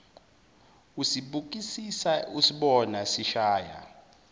usibukisisa usibona sishaya